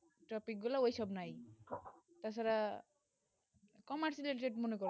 topic গুলু ঐই সব নাই তার ছাড়া commerce এর subject